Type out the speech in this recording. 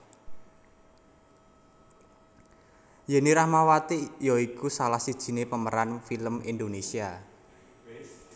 Yenny Rahmawati ya iku salah sijiné pemeran film Indonésia